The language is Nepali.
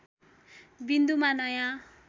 विन्दुमा नयाँ